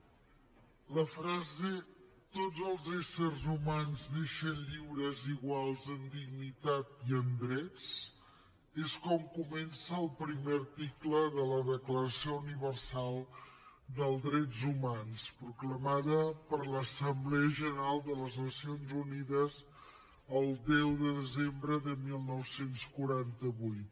la frase tots els éssers humans neixen lliures i iguals en dignitat i en drets és com comença el primer article de la declaració universal dels drets humans proclamada per l’assemblea general de les nacions unides el deu de desembre de dinou quaranta vuit